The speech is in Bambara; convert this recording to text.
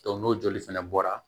n'o joli fana bɔra